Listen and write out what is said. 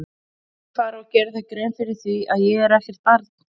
Viltu fara að gera þér grein fyrir því að ég er ekkert barn!